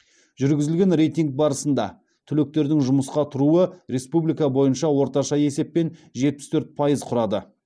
жүргізілген рейтинг барысында түлектердің жұмысқа тұруы республика бойынша орташа есеппен жетпіс төрт пайыз құрады